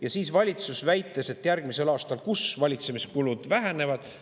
Ja siis valitsus väitis, et järgmisel aastal kus valitsemiskulud vähenevad?